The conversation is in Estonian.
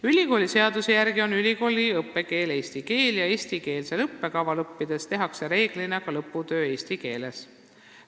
Ülikooliseaduse järgi on ülikooli õppekeel eesti keel ja eestikeelse õppekava alusel õppides tehakse üldiselt ka lõputöö eesti keeles.